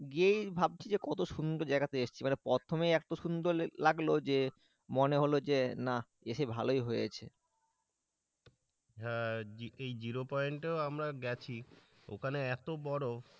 গিয়েই ভাবছি যে কত সুন্দর জায়গাতে এসেছি, এবার প্রথমেই এত সুন্দর লাগলো যে মনে হলো যে না এসে ভালোই হয়েছে হ্যাঁ এই জিরো পয়েন্টেও আমরা গেছি ওখানে এত বরফ।